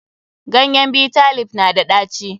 Ganyen Bitter leaf na da ɗaci.